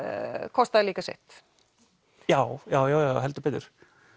kostaði líka sitt já já já heldur betur